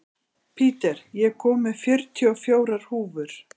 Peter, ég kom með fjörutíu og fjórar húfur!